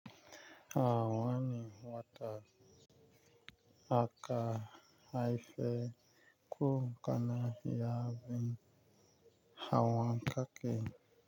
A wani wata aka haife ku kana ya bi awon ka ke.